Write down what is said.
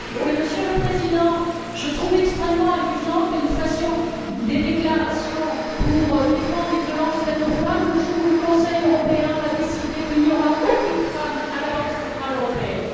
Monsieur le Président, je trouve extrêmement amusant que nous fassions des déclarations pour défendre les violences faites aux femmes le jour où le Conseil européen décidera qu'il n'y aura aucune femme à la Banque centrale européenne.